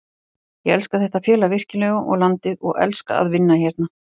Ég elska þetta félag virkilega og landið og elska að vinna hérna.